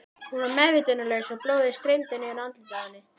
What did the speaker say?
Hún var meðvitundarlaus og blóðið streymdi niður andlitið á henni.